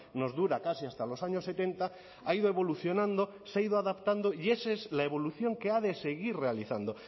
nos dura casi hasta los años setenta ha ido evolucionando se ha ido adaptando y esa es la evolución que ha de seguir realizando